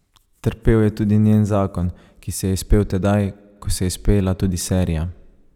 Trpel je tudi njen zakon, ki se je izpel tedaj, ko se je izpela tudi serija.